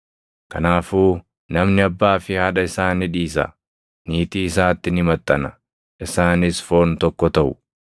Kanaafuu namni abbaa fi haadha isaa ni dhiisa; niitii isaatti ni maxxana; isaanis foon tokko taʼu.